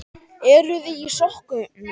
Eruði í sokkum?